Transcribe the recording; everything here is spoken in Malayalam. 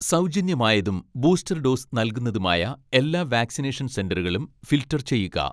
സൗജന്യം ആയതും ബൂസ്റ്റർ ഡോസ് നൽകുന്നതുമായ എല്ലാ വാക്സിനേഷൻ സെന്ററുകളും ഫിൽട്ടർ ചെയ്യുക